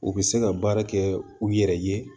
U bɛ se ka baara kɛ u yɛrɛ ye